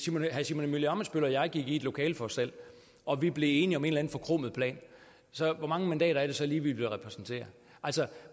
herre simon emil ammitzbøll og jeg gik i et lokale for os selv og vi blev enige om en eller anden forkromet plan hvor mange mandater er det så lige vi ville repræsentere